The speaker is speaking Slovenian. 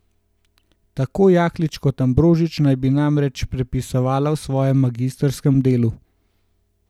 Tako Jaklič kot Ambrožič naj bi namreč prepisovala v svojem magistrskem delu.